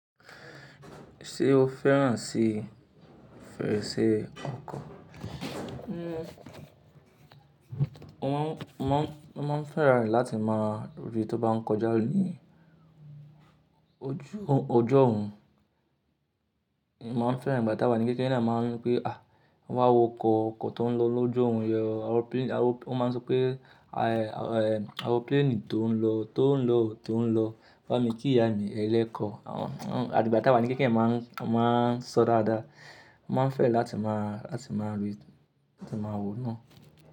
Ṣé o fẹ́ràn sí fèrèsé ọkọ̀? Mo má, mo má, mo má ń fẹ́ran rẹ̀ láti má rí tó bá ń kọjá ní ojú ọjọ́ orun. Mo má ń fẹ́ràn ìgbà tá wà ní kékeré náà ma ń pe, à wá wo ọkọ̀, ọkọ̀ tó ń lọ lójú orun yi o. Aero pl, aero, mo má ń sọ pé, ayẹ, ayẹ, aeropláànì tó ń lọ, tó ń lọ, tó ń lọ. Ba mi kí ìyá mi ẹlẹ́kọ̀. Àwọn àtí ìgbà tá wà ní kékeré ma ń, ma ń sọ dáadáa. Mo má ń fẹ́ràn láti má, láti má rí, láti má wo náà.